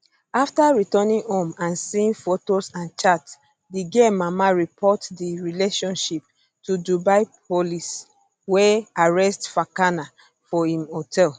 afta returning home and seeing fotos and chats di girl mama report di relationship to dubai police wey arrest fakana for im hotel